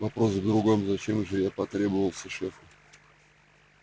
вопрос в другом зачем же я потребовался шефу